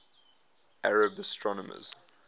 arab astronomers